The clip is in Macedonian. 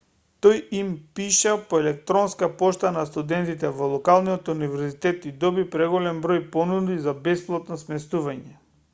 тој им пиша по електронска пошта на студентите во локалниот универзитет и доби преголем број понуди за бесплатно сместување